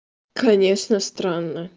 конечно странно